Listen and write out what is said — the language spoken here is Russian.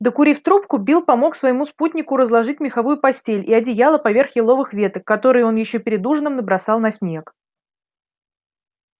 докурив трубку билл помог своему спутнику разложить меховую постель и одеяло поверх еловых веток которые он ещё перед ужином набросал на снег